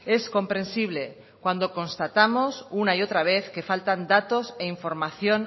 es comprensible cuando constatamos una y otra vez que faltan datos e información